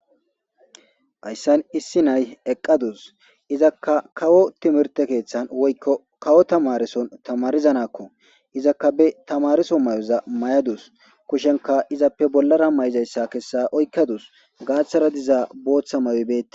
Hays San issi nay eqqadus izakka kawo timirte keeththan woykko kawo tamarison tamarizanakko izakka be tamariso may7oza may7adus kushenka izappe bollara may7izayssa kessa oykkadus gaaththara dizaa booththa mayobete.